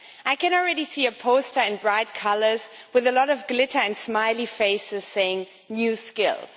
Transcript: I can already see a poster in bright colours with a lot of glitter and smiley faces saying new skills'.